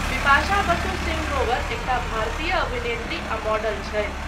बिपाशा बसु सिंह ग्रोवर एकटा भारतीय अभिनेत्री आ मॉडल छथि।